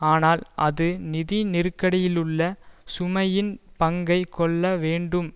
ஆனால் அது நிதி நெருக்கடியிலுள்ள சுமையின் பங்கை கொள்ள வேண்டும்